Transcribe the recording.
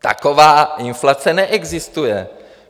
Taková inflace neexistuje.